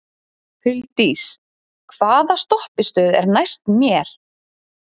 Huldís, hvaða stoppistöð er næst mér?